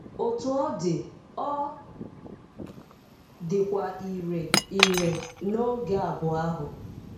Otú ọ dị, ọ dịkwa irè irè n'oge abụọ ahụ.